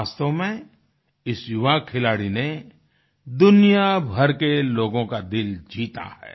वास्तव में इस युवा खिलाड़ी ने दुनिया भर के लोगों का दिल जीता है